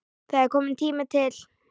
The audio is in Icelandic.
Það er kominn tími til.